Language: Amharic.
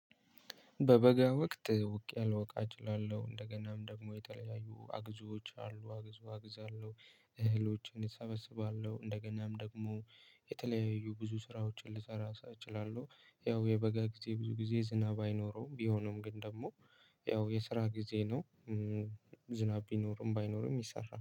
በበጋ ወቅት ውቅያ ልወቃ እላለሁ እችላለሁ እንደገናም ደግሞ የተለያዩ አግዞች አሉ አግዞ አግዛለሁ። እህሎችን እሰበስባለሁ እንደገናም ደግሞ የተለያዩ ብዙ ስራዎችን ልሰራ እችላለሁ አለው። ያው የበጋ ጊዜ ብዙ ጊዜ ዝናብ አይኖረውም ቢሆነውም ግን ደግሞ ያው የስራ ጊዜ ነው። ዝናብ ቢኖርም ባይኖርም ይሰራል